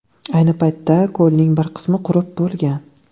Ayni paytda ko‘lning bir qismi qurib bo‘lgan.